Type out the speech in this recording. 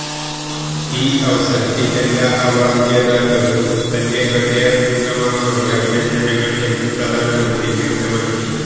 ഈ അവസരത്തിൽ എല്ലാ അവാർഡ് ജേതാക്കൾക്കും എന്റെ ഹൃദയംഗമമായ അഭിനന്ദനങ്ങൾ എന്നും പ്രധാനമന്ത്രി വ്യക്തമാക്കി